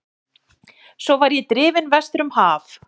Svo var ég drifinn vestur um haf.